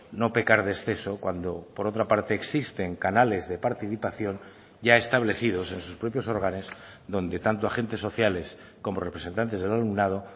no pecar de exceso cuando por otra parte existen canales de participación ya establecidos en sus propios órganos donde tanto agentes sociales como representantes del alumnado